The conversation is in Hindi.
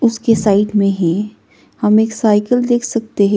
उसके साइड में ही हम एक साइकिल देख सकते हैं।